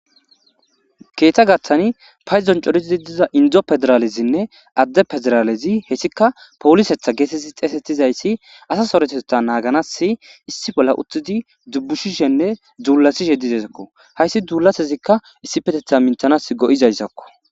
Keeththa gaththani paydon corethizi diza inddo pederaalezinne adde pederaalezi heethikka poolisetha geetheththidi xeseththizayssi asa sarothatheththaa naaganassi issi bolla uththidi dubbushishenne duullazishee dizeysakko; hayssi duullasezikka issipetheththaa minththanaassi go7izayssakoo.